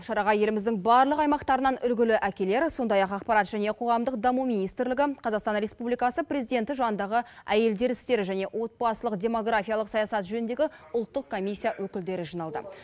шараға еліміздің барлық аймақтарынан үлгілі әкелер сондай ақ ақпарат және қоғамдық даму министрлігі қазақстан республикасы президенті жанындағы әйелдер істері және отбасылық демографиялық саясат жөніндегі ұлттық комиссия өкілдері жиналды